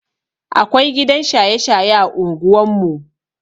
Akwai gidan shaye-shaye a unguwan mu.